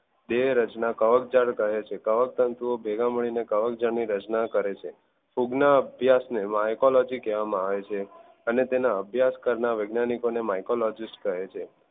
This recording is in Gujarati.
બે રચના કવકજાળ કહે છે કવકતંતુ ભેગા મળીને કવકજાળ ની રચના કહેવામાં આવે છે ફૂગ ના અભ્યાસ ને mycology કહેવામાં આવે છે અને તેના અભ્યાસ કરનાર વૈજ્ઞાનિક ને mycologist કહે છે